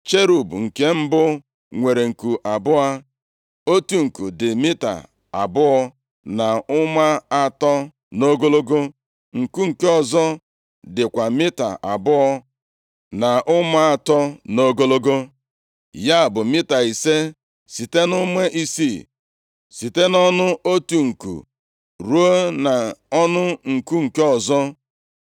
Cherub nke mbụ nwere nku abụọ, otu nku dị mita abụọ na ụma atọ nʼogologo, nku nke ọzọ dịkwa mita abụọ na ụma atọ nʼogologo. Ya bụ, mita ise site na ụma isii, site nʼọnụ otu nku ruo nʼọnụ nku nke ọzọ.